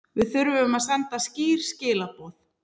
Við þurfum að senda skýr skilaboð